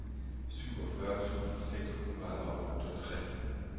syvogfyrre tusind seks hundrede og otteogtres